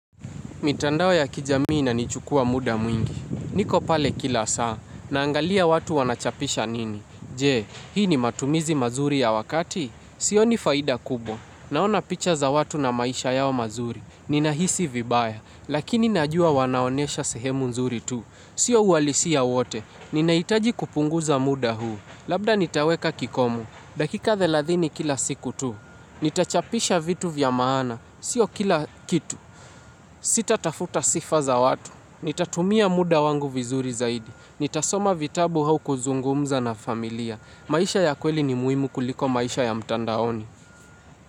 Mitandao ya kijamii inanichukua muda mwingi. Niko pale kila saa. Naangalia watu wanachapisha nini. Je, hii ni matumizi mazuri ya wakati? Sioni faida kubwa. Naona picha za watu na maisha yao mazuri. Ninahisi vibaya. Lakini najua wanaonyesha sehemu nzuri tu. Sio uhalisia wote. Ninahitaji kupunguza muda huu. Labda nitaweka kikomu. Dakika thelathini kila siku tu. Nitachapisha vitu vya maana. Sio kila kitu. Sitatafuta sifa za watu, nitatumia muda wangu vizuri zaidi, nitasoma vitabu au kuzungumza na familia, maisha ya kweli ni muhimu kuliko maisha ya mtandaoni.